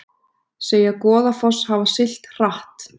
Segja Goðafoss hafa siglt hratt